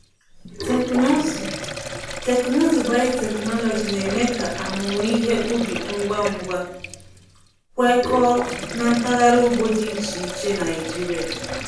Teknụzụ Teknụzụ biotechnology na-eme ka amụmụ ihe ubi ngwa ngwa kwekọọ na mpaghara ugbo dị iche iche Naijiria.